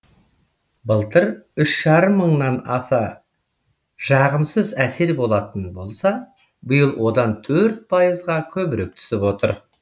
былтыр үш жарым мыңнан аса жағымсыз әсер болатын болса биыл одан төрт пайызға көбірек түсіп отыр